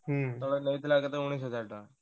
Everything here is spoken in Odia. ହୁଁ ତଳେ ନେଇଥିଲା କେତେ ଉଣେଇସ ହଜାର ଟଙ୍କା।